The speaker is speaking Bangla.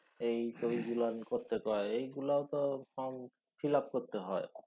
এই বইগুলার করতে কয় এই এইগুলাও তো ফর্ম fill up করতে হয়